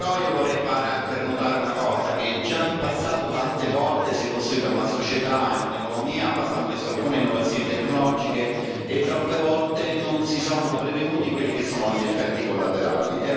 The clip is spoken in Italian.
Io vorrei anche fare notare una cosa già in passato tante volte si sono costruite una società e un'economia basandosi su alcune innovazioni tecnologiche e troppe volte non si sono prevenuti quelli che sono gli effetti collaterali.